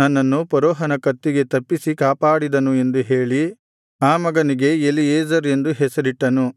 ನನ್ನನ್ನು ಫರೋಹನ ಕತ್ತಿಗೆ ತಪ್ಪಿಸಿ ಕಾಪಾಡಿದನು ಎಂದು ಹೇಳಿ ಆ ಮಗನಿಗೆ ಎಲೀಯೆಜೆರ್ ಎಂದು ಹೆಸರಿಟ್ಟನು